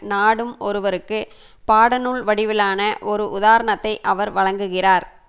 நாடும் ஒருவருக்கு பாட நூல் வடிவிலான ஒரு உதாரணத்தை அவர் வழங்குகிறார்